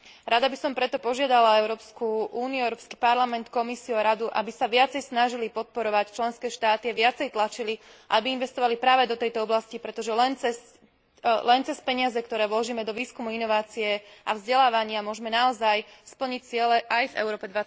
Rada by som preto požiadala Európsku úniu, Európsky parlament, Komisiu, Radu, aby sa viacej snažili podporovať členské štáty a viacej tlačili, aby investovali práve do tejto oblasti, pretože len cez peniaze, ktoré vložíme do výskumu, inovácie a vzdelávania, môžeme naozaj splniť ciele aj v Európe